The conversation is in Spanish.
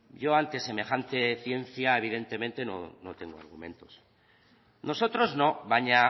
yo ante semejante ciencia evidentemente no tengo argumentos nosotros no baina